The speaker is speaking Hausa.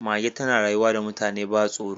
Mage tana rayuwa da mutane ba tsoro